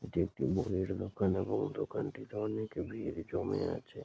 এটি একটি বইয়ের দোকান এবং দোকানটিতে অনেক ভিড় জমে আছে।